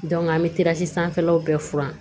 an bɛ tisi sanfɛlaw bɛɛ furan